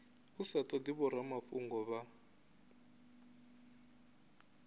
u sa todi vhoramafhungo vha